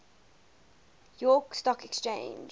york stock exchange